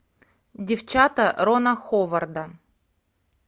девчата рона ховарда